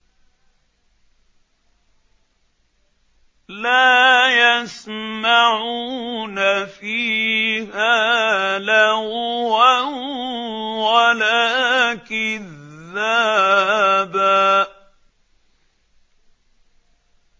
لَّا يَسْمَعُونَ فِيهَا لَغْوًا وَلَا كِذَّابًا